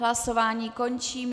Hlasování končím.